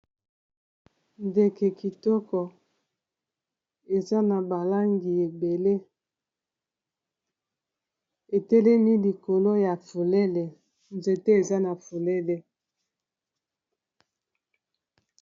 Ndeke kitoko eza na ba langi ebele etelemi likolo ya fulele nzete eza na fulele.